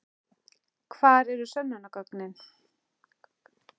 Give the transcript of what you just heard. Hvar eru sönnunargögnin?